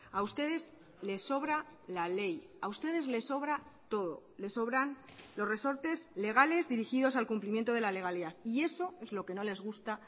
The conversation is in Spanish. a ustedes les sobra la ley a ustedes les sobra todo les sobran los resortes legales dirigidos al cumplimiento de la legalidad y eso es lo que no les gusta